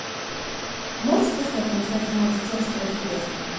можешь поискать трансляцию матча челси против лестера